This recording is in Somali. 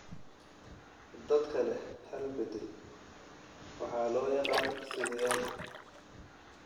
Dadka leh hal bedel waxa loo yaqaan sideyaal.